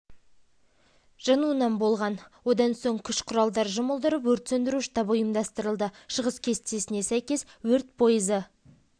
негізгі техника бірлігі жеке құрамның адамы өрт сөндіру жұмысына атсалысты оқу-жаттығуды өткізу барысына темір жол